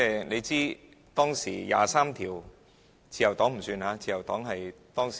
你知道當時第二十三條立法——自由黨不算數，自由黨是當時......